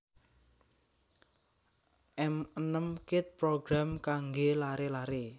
M enem Kid program kanggé laré laré